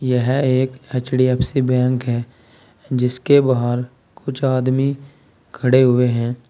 यह एक HDFC bank है जिसके बाहर कुछ आदमी खड़े हुए हैं।